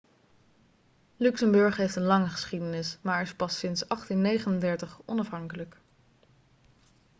luxemburg heeft een lange geschiedenis maar is pas sinds 1839 onafhankelijk